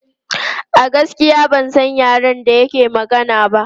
A gaskiya ban san yaren da yake magana ba.